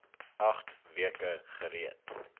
agt weke gereed